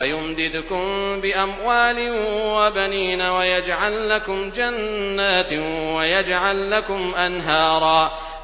وَيُمْدِدْكُم بِأَمْوَالٍ وَبَنِينَ وَيَجْعَل لَّكُمْ جَنَّاتٍ وَيَجْعَل لَّكُمْ أَنْهَارًا